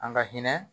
An ka hinɛ